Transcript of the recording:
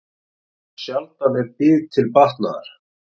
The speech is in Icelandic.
Sjaldan er bið til batnaðar.